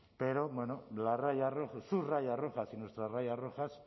pero bueno las rayas rojas sus rayas rojas y nuestras rayas rojas